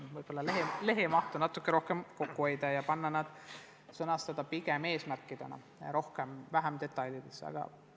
Võib-olla võiks lehtede mahtu natuke rohkem kokku hoida ja sõnastada ettepanekud pigem eesmärkidena ja vähem detailidesse laskuda.